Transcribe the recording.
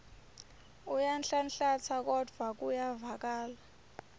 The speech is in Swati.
uyanhlanhlatsa kodvwa kuyevakala